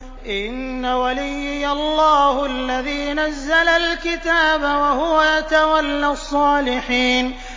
إِنَّ وَلِيِّيَ اللَّهُ الَّذِي نَزَّلَ الْكِتَابَ ۖ وَهُوَ يَتَوَلَّى الصَّالِحِينَ